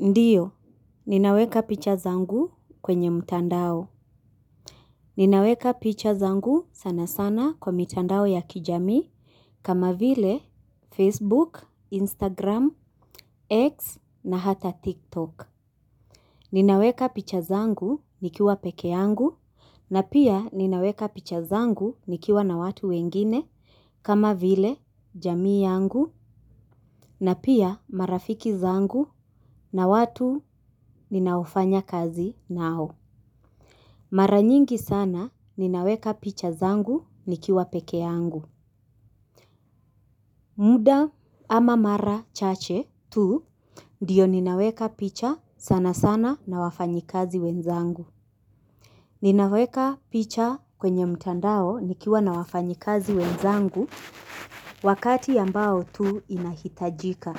Ndiyo, ninaweka picha zangu kwenye mtandao. Ninaweka picha zangu sana sana kwa mtandao ya kijami kama vile Facebook, Instagram, X na hata TikTok. Ninaweka picha zangu nikiwa peke yangu na pia ninaweka picha zangu nikiwa na watu wengine kama vile jamii yangu na pia marafiki zangu na watu ninaofanya kazi nao. Mara nyingi sana ninaweka picha zangu nikiwa peke yangu. Muda ama mara chache tu ndiyo ninaweka picha sana sana na wafanyikazi wenzangu. Ninaweka picha kwenye mtandao nikiwa na wafanyikazi wenzangu wakati ambao tu inahitajika.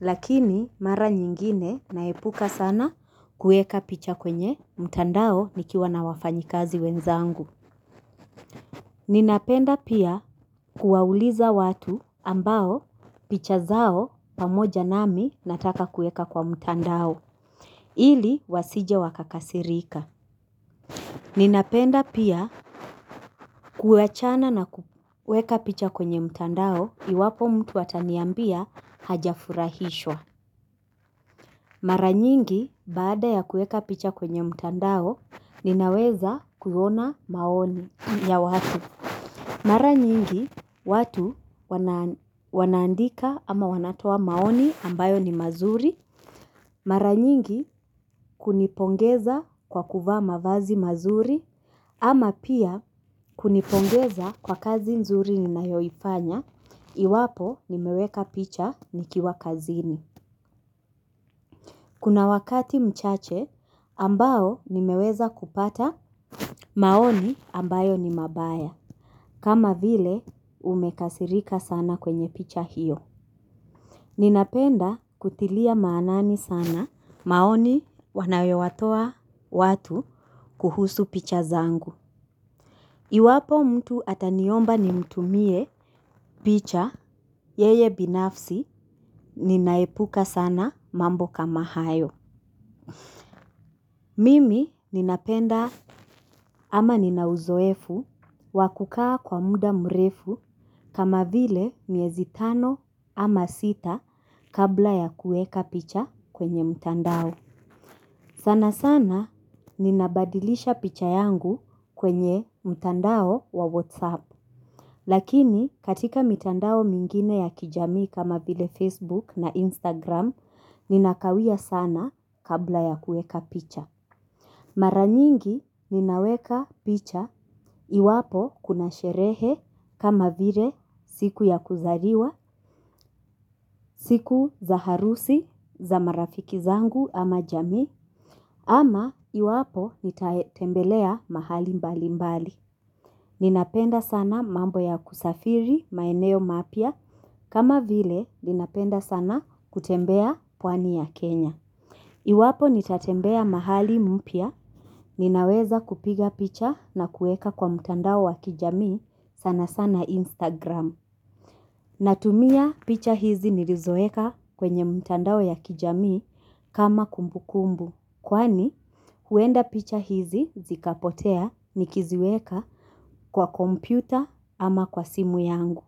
Lakini mara nyingine naepuka sana kueka picha kwenye mtandao nikiwa na wafanyikazi wenzangu. Ninapenda pia kuwauliza watu ambao picha zao pamoja nami nataka kueka kwa mtandao ili wasije wakakasirika. Ninapenda pia kuachana na kuweka picha kwenye mtandao iwapo mtu ataniambia hajafurahishwa. Mara nyingi baada ya kueka picha kwenye mtandao ninaweza kuona maoni ya watu. Mara nyingi watu wanaandika ama wanatoa maoni ambayo ni mazuri, mara nyingi kunipongeza kwa kuvaa mavazi mazuri, ama pia kunipongeza kwa kazi mzuri ninayoifanya, iwapo nimeweka picha nikiwa kazini. Kuna wakati mchache ambao nimeweza kupata maoni ambayo ni mabaya. Kama vile umekasirika sana kwenye picha hiyo. Ninapenda kutilia maanani sana maoni wanayowatoa watu kuhusu picha zangu. Iwapo mtu ataniomba nimtumie picha yeye binafsi ninaepuka sana mambo kama hayo. Mimi ninapenda ama nina uzoefu wa kukaa kwa muda mrefu kama vile miezi tano ama sita kabla ya kueka picha kwenye mtandao. Sana sana ninabadilisha picha yangu kwenye mtandao wa WhatsApp. Lakini katika mtandao mingine ya kijamii kama vile facebook na instagram ninakawia sana kabla ya kueka picha. Mara nyingi ninaweka picha iwapo kuna sherehe kama vile siku ya kuzariwa siku za harusi za marafiki zangu ama jamii ama iwapo nitatembelea mahali mbalimbali. Ninapenda sana mambo ya kusafiri maeneo mapya kama vile ninapenda sana kutembea pwani ya Kenya. Iwapo nitatembea mahali mpya, ninaweza kupiga picha na kuweka kwa mtandao wa kijamii sana sana Instagram. Natumia picha hizi nirizoeka kwenye mtandao ya kijami kama kumbukumbu. Kwani, huenda picha hizi zikapotea nikiziweka kwa kompyuta ama kwa simu yangu.